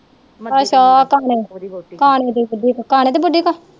ਅੱਛਾ ਕਾਣੇ ਦੀ ਕਾਣੇ ਦੀ ਬੁਧੀ ਕੋਲ ਕਾਣੇ ਦੀ ਬੁਧੀ ਕੋਲ